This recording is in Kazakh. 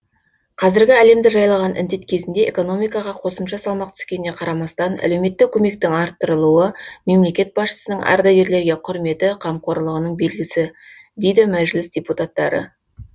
қазіргі әлемді жайлаған індет кезінде экономикаға қосымша салмақ түскеніне қарамастан әлеуметтік көмектің арттырылуы мемлекет басшысының ардагерлерге құрметі қамқорлығының белгісі дейді мәжіліс депутаттары